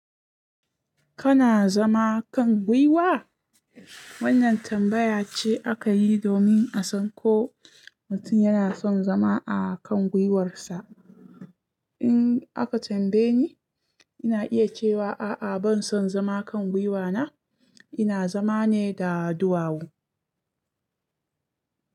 Kana zama kan gwiwa? Wannan tambaya ce aka yi domin a san ko mutum yana son zama a kan gwiwarsa. In aka tambaye ni, ina iya cewa a'a ban son zama kan gwiwa na, ina zama ne da duwawu.